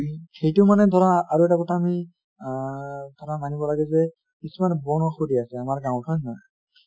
সেইটো মানে ধৰা আৰু এটা কথা অমি অ ধৰা মানিব লাগে যে কিছুমান বন ঔষধি আছে আমাৰ গাঁওত , হয় নে নহয় ?